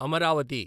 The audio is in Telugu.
అమరావతి